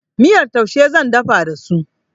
Miyar taushe zan dafa da su.